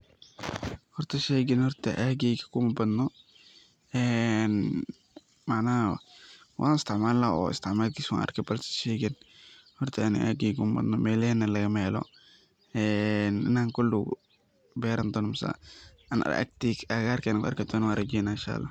Horta sheeygan horta aageyga kumabadno macnaha wan istacmalna oo istacmalkisa waan arke lakinse horta sheygan aageyga kumabadno melahena lagamahelo in an koldow beranidoni mise an koldow agagarkeyga kuarki dono rajeyna.